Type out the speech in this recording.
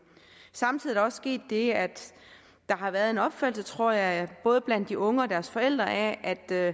samtidig er der også sket det at der har været en opfattelse tror jeg både blandt de unge og deres forældre af at der